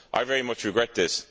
I very much regret this.